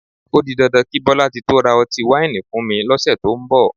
O di dandan kí Bọ́látitó ra ọtí wáìnì wá fún mi lọ́sẹ̀ tó ń bọ̀